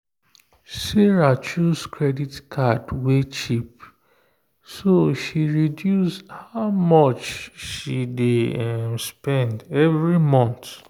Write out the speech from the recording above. sarah choose kredit card wey cheap so she reduce how much she dey spend every month.